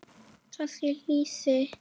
Kannski lýsi?